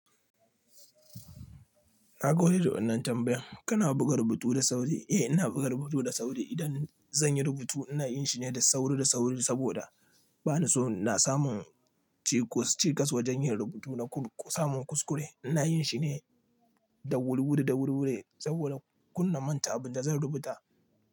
Na gode da wannan tambayan. Kana buga rubutu da sauri? Eh ina buga rubutu da sauri. Idan zan yi rubutu ina yin shi ne da sauri da sauri saboda bani so na samu cikas, cikas wajen yin rubutu na samu kuskure. Ina yin shi ne da wuriwuri, da wuriwuri saboda kunna manta abin da zan rubuta.